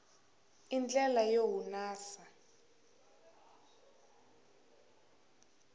i ndlela yo hunasa